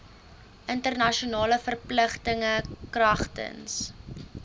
internasionale verpligtinge kragtens